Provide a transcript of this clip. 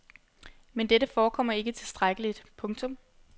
Men dette forekommer ikke tilstrækkeligt. punktum